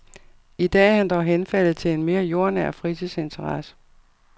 I dag er han dog henfaldet til en mere jordnær fritidsinteresse.